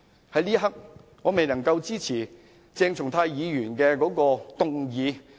在這一刻，我未能夠支持鄭松泰議員提出的議案。